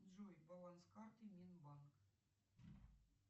джой баланс карты минбанк